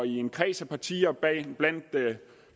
en kreds af partier bag